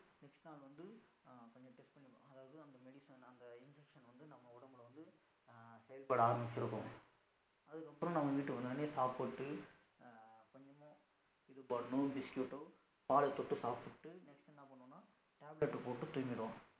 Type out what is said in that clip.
அதுக்கு அப்றம் நம்ம வீட்டுக்கு வந்த உடனே சாப்பிட்டடு ஹம் கொஞ்சமா இது bun னோ biscuit ஓ பால் தொட்டு சாப்டுட்டு next என்ன பண்ணுவோம்னா tablet போட்டு தூங்கிருவோம்